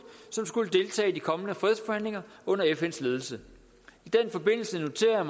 som skulle deltage i de kommende fredsforhandlinger under fns ledelse i den forbindelse noterede